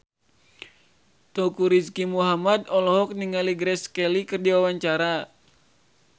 Teuku Rizky Muhammad olohok ningali Grace Kelly keur diwawancara